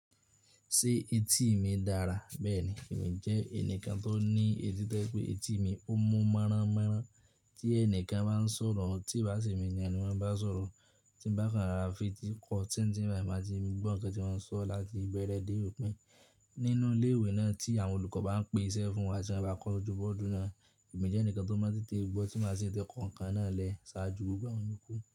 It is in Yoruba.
Ṣé etí mi dára? Bẹ́ẹ̀ni, èmi jẹ́ ẹnìkan tó ní etí tẹ́ pé etí mi ó mú mọ́rá mọ́rá tí ẹnìkan bá ń sọ̀rọ̀, tí bà sí mi yan ní wọ́n bá sọ̀rọ̀, tí bá kan fara fìtí kọ, tí n tí n bá ì máa ti gbọ́ ǹkan tí wọ́n ń sọ láti ìbẹ̀rẹ̀ dé òpin. Nínú ilé ìwé náà tí àwọn olùkọ́ bá ń pèsẹ fún wa tí wọ́n bá kọ ojúbọ ọdún náà, èmi jẹ́ ẹnìkan tó máa tètè gbọ́ tí má sì tẹ ǹkan náà lẹ, ṣáájú gbogbo àwọn yoku.